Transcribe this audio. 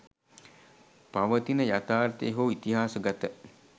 පවතින යථාර්ථය හෝ ඉතිහාසගත